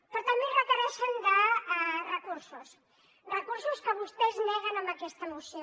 però també requereixen recursos recursos que vostès neguen amb aquesta moció